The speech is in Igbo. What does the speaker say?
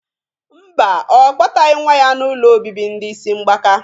Mba, Ọ kpọtaghị nwa ya n'ụlọ obibi ndị isi mgbaka